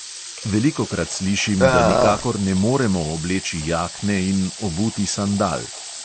Velikokrat slišim, da nikakor ne moremo obleči jakne in obuti sandal.